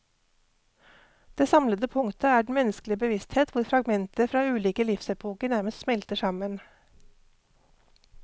Det samlende punktet er den menneskelige bevissthet hvor fragmenter fra ulike livsepoker nærmest smelter sammen.